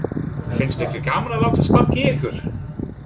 Finnst ykkur gaman að láta sparka í ykkur?